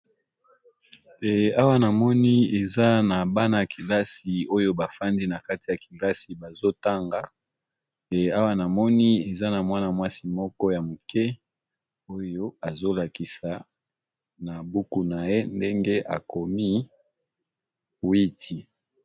Pe awa na moni eza na bana a kilasi oyo bafandi na kati ya kilasi bazotanga pe awa namoni eza na mwana mwasi moko ya moke oyo azo lakisa na buku na ye ndenge akomi 8iti.